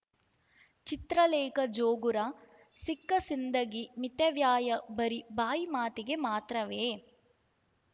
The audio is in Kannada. ಚಿತ್ರಲೇಖಾ ಜೋಗುರ ಸಿಕ್ಕಸಿಂದಗಿ ಮಿತವ್ಯಯ ಬರೀ ಬಾಯಿ ಮಾತಿಗೆ ಮಾತ್ರವೇ